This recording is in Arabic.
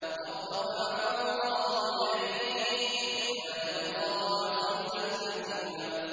بَل رَّفَعَهُ اللَّهُ إِلَيْهِ ۚ وَكَانَ اللَّهُ عَزِيزًا حَكِيمًا